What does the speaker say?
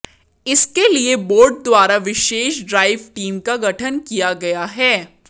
इसके लिए बोर्ड द्वारा विशेष ड्राइव टीम का गठन किया गया है